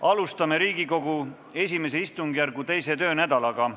Alustame Riigikogu I istungjärgu teist töönädalat.